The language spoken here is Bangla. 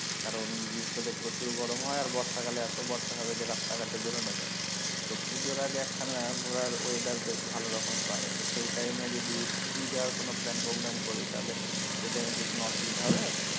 কারন গ্রীষ্ম তে প্রচুর গরম হয় আর বর্ষা কালে এতো বর্ষা হবে যে রাস্তাঘাটে বেরোনো যায়না তো পুজোর আগে একখানা ঘোরার weather বেশ ভালোরকমের পাওয়া যায় তো সেই time এ যদি পুরি যাওয়ার কোনো plan program করি তাহলে সেই time এ কি কোনো অসুবিধা হবে?